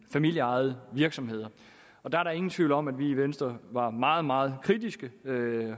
familieejede virksomheder der er ingen tvivl om at vi i venstre var meget meget kritiske